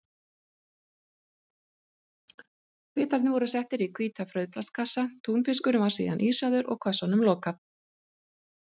Bitarir voru settir í hvíta frauðplastkassa, túnfiskurinn var síðan ísaður og kössunum lokað.